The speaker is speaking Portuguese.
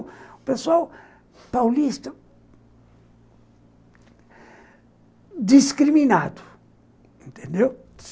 O pessoal paulista, discriminado, entendeu?